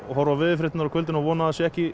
horfa á veðurfréttirnar á kvöldin og vona að það sé ekki